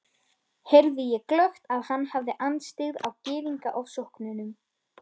heyrði ég glöggt, að hann hafði andstyggð á Gyðingaofsóknunum.